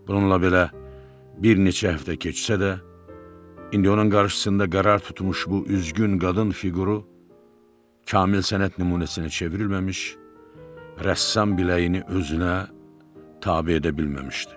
Bununla belə bir neçə həftə keçsə də, indi onun qarşısında qərar tutmuş bu üzgün qadın fiquru kamil sənət nümunəsinə çevrilməmiş rəssam biləyini özünə tabe edə bilməmişdi.